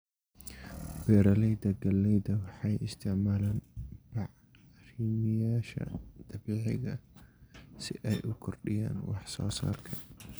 Beeralayda galleyda waxay isticmaalaan bacrimiyeyaasha dabiiciga ah si ay u kordhiyaan wax soo saarka.